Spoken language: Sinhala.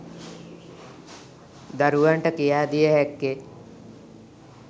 දරුවන්ට කියා දිය හැක්කේ